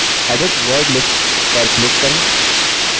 edit word lists पर क्लिक करें